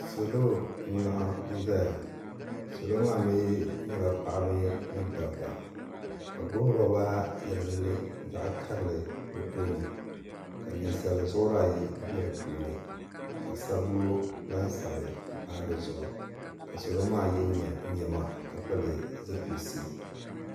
salo n laɣam ʒɛya salo maa mii nyɛla paɣaba ni dabba ka bi gbubi roba yɛlinli zaɣ karili bi tooni ka ninsal zuɣuri ayi bɛ di puuni ka sabbu laasabu pahi dizuɣu ka salo maa yɛ niɛma ka pili zipilisi